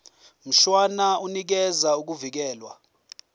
mshwana unikeza ukuvikelwa